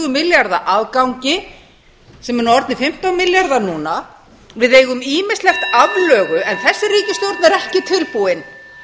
milljarða afgangi sem eru nú orðnir fimmtán milljarðar við eigum ýmislegt aflögu en þessi ríkisstjórn er ekki tilbúin